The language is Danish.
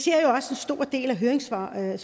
stor del af høringssvarene